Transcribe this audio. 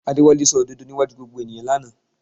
Adéwálé sọ òdodo níwájú gbogbo ènìyàn lánàá